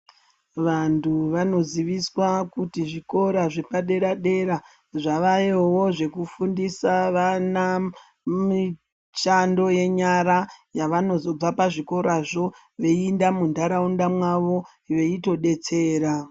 Vantu vanoziviswa kuti zvikora zvepaderadera zvavayowo zvekufundisa vana mishando yenyara yavanozobva pazvikorazvo veinda munharaunda mwawo veitodetsera.